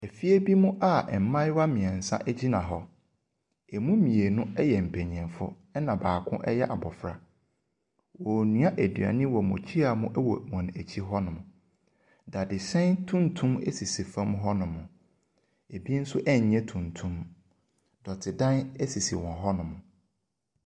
Efie bi mu a mmayewa mmiɛnsa gyina hɔ. Emu mmienu yɛ mpanimfo. Na baako yɛ abofra. Wɔrenoa aduane wɔ mmukyia mu wɔ wɔn akyi hɔnom. Dadesɛn tuntum sisi fam hɔnom. Ebi nso nyɛ tuntum. Dɔtedan esisi hɔnom.